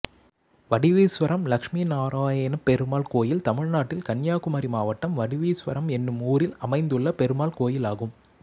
வடிவீஸ்வரம் லட்சுமி நாராயணப்பெருமாள் கோயில் தமிழ்நாட்டில் கன்னியாகுமரி மாவட்டம் வடிவீஸ்வரம் என்னும் ஊரில் அமைந்துள்ள பெருமாள் கோயிலாகும்